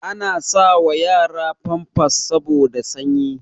Ana sa wa yara famfas saboda sanyi